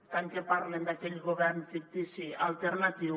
tant que parlen d’aquell govern fictici alternatiu